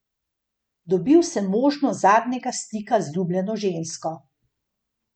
Dobil sem možnost zadnjega stika z ljubljeno žensko.